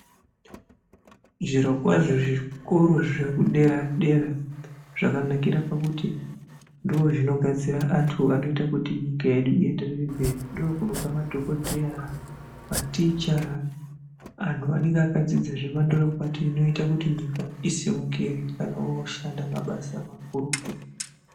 Zvirokwazvo zvikoro zvekudera-dera zvakanakira pakuti ndozvinogadzira antu anoita kuti nyika yedu ienderere mberi. Ndokunobva madhogodheya, maticha antu anonga akadzidza zvemandorokwati inoita kuti nyika isimukire kana oshanda mabasa makurutu.